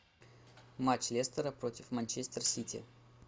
матч лестера против манчестер сити